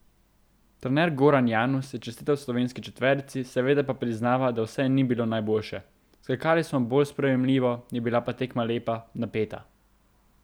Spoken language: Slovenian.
Trener Goran Janus je čestital slovenski četverici, seveda pa priznava, da vse ni bilo najboljše: 'Skakali smo bolj spremenljivo, je bila pa tekma lepa, napeta.